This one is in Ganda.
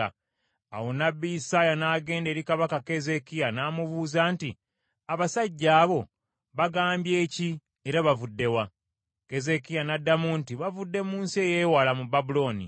Awo nnabbi Isaaya n’agenda eri Kabaka Keezeekiya n’amubuuza nti, “Abasajja abo bagambye ki era bavudde wa?” Keezeekiya n’addamu nti, “Bavudde mu nsi ey’ewala mu Babulooni.”